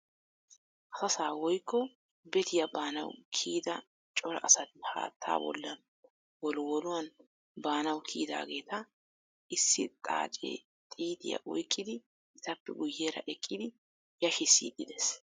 Asasaa woykko bettiya baanawu kiyidda cora asatti haattaa bollan wolwolluwan baanawu kiyidaageeta issi xaacee xiitiya oyqqidi etappe guyeera eqqidi yashiisid dees.